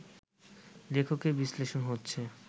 লেখকের বিশ্লেষণ হচ্ছে